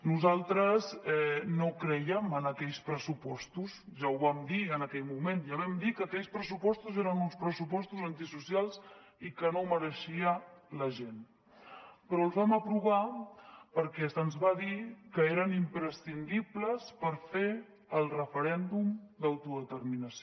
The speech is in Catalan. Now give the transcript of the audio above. nosaltres no creiem en aquells pressupostos ja ho vam dir en aquell moment ja vam dir que aquells pressupostos eren uns pressupostos antisocials i que no es mereixia la gent però els vam aprovar perquè se’ns va dir que eren imprescindibles per fer el referèndum d’autodeterminació